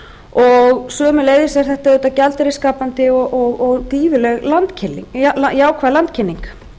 og sömuleiðis er þetta auðvitað gjaldeyrisskapandi og gríðarleg jákvæð landkynning